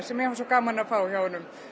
sem mér fannst gaman að fá hjá honum